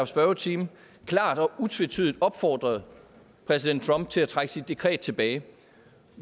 spørgetime klart og utvetydigt opfordret præsident trump til at trække sit dekret tilbage